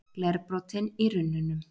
Glerbrotin í runnunum.